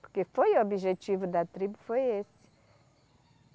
Porque foi o objetivo da tribo, foi esse.